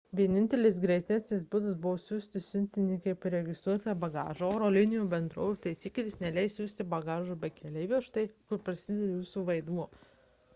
vienintelis greitesnis būdas buvo siųsti siuntinį kaip registruotą bagažą oro linijų bendrovių taisyklės neleis siųsti bagažo be keleivio štai kur prasideda jūsų vaidmuo